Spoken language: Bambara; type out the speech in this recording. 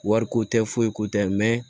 Wariko tɛ foyi ko tɛ